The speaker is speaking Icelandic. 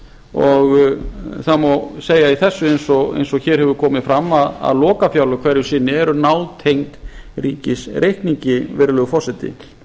og það má segja í þessu eins og hér hefur komið fram að lokafjárlög hverju sinni eru nátengd ríkisreikningi virðulegi forseti